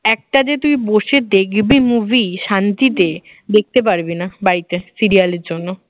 একটা যে তুই বসে দেখবি movie শান্তিতে দেখতে পারবি না বাড়িতে serial এর জন্য